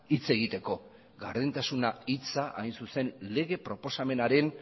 hitz egiteko gardentasuna hitza hain zuzen lege proposamenaren